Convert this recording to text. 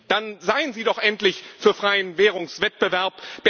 Dann seien Sie doch endlich für freien Währungswettbewerb!